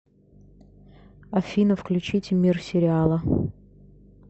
афина включите мир сериала